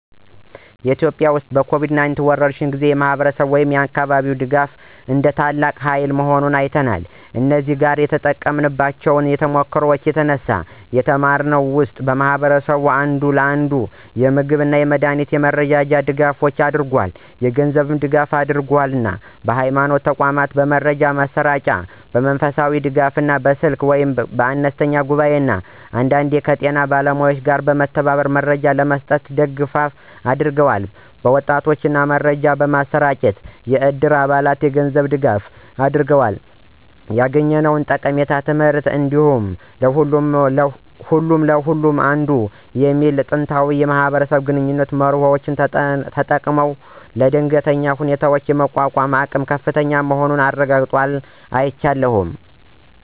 በኢትዮጵያ ውስጥ ከኮቪድ-19 ወረርሽኝ ጋር፣ የማህበረሰባችን ወይም የአካባቢያችን ድጋፍ እንደ ታላቅ ሃይል መሆኑን አይተናል። እዚህ ጋር የተጠቀምንባቸው እና ከተሞክሮው የተነሳ የተማርነው ውስጥ ማህበረሰቡ አንዱ ለአንዱ የምግብ፣ የመድሃኒት እና የመረጃ ድጋፍ አደረገል እና የገንዝብ ድጋፍ አድርገውልናል። በሀይማኖት ተቋማት በመረጃ ማሰራጨት፣ በመንፈሳዊ ድጋፍ (በስልክ ወይም በአነስተኛ ጉባኤ) እና አንዳንዴ ከጤና ባለሙያዎች ጋር በመተባበር መረጃ ለመስጠት ድጋፍ አድርገዋል። ወጣቶች መረጃን በማሰራጨት፣ የዕድር አባላት የገንዝብ ድጋፋ አድርጎል። ያገኘነው ጠቃሚ ትምህርት (አንዱ ለሁሉም እና ሁሉም ለአንዱ) የሚሉ ጥንታዊ የማህበራዊ ግንኙነት መርሆዎችን ተጠቅሞ ለድንገተኛ ሁኔታዎች የመቋቋም አቅሙ ከፍተኛ መሆኑን አረጋግጧል። አይቻለሁም።